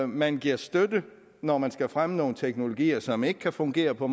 man giver støtte når man skal fremme nogle teknologier som ikke kan fungere på